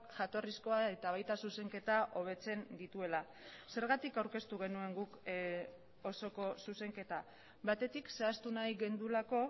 jatorrizkoa eta baita zuzenketa hobetzen dituela zergatik aurkeztu genuen guk osoko zuzenketa batetik zehaztu nahi genuelako